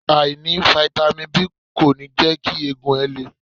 Àìní Fáítámì B kò ní jẹ́ kí egungun ẹ le.